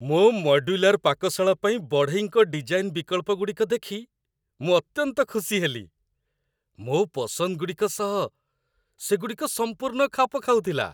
ମୋ ମଡ୍ୟୁଲାର ପାକଶାଳା ପାଇଁ ବଢ଼େଇଙ୍କ ଡିଜାଇନ୍ ବିକଳ୍ପଗୁଡ଼ିକ ଦେଖି ମୁଁ ଅତ୍ୟନ୍ତ ଖୁସି ହେଲି। ମୋ' ପସନ୍ଦଗୁଡ଼ିକ ସହ ସେଗୁଡ଼ିକ ସମ୍ପୂର୍ଣ୍ଣ ଖାପ ଖାଉଥିଲା!